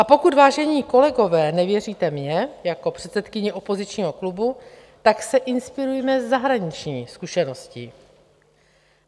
A pokud, vážení kolegové, nevěříte mně jako předsedkyni opozičního klubu, tak se inspirujme zahraniční zkušeností.